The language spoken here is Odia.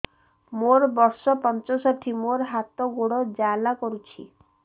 ମୋର ବର୍ଷ ପଞ୍ଚଷଠି ମୋର ହାତ ଗୋଡ଼ ଜାଲା କରୁଛି